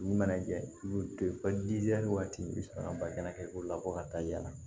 Min mana jɛ i b'o to yen ko waati i bɛ sɔrɔ ka bakɛnɛ k'o labɔ ka taa yala